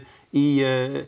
í